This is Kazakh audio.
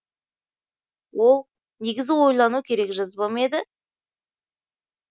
ол негізі ойлану керек жазба ма еді